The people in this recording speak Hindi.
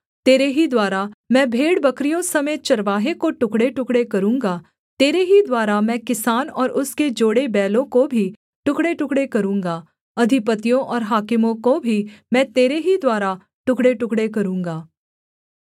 तेरे ही द्वारा मैं भेड़बकरियों समेत चरवाहे को टुकड़ेटुकड़े करूँगा तेरे ही द्वारा मैं किसान और उसके जोड़े बैलों को भी टुकड़ेटुकड़े करूँगा अधिपतियों और हाकिमों को भी मैं तेरे ही द्वारा टुकड़ेटुकड़े करूँगा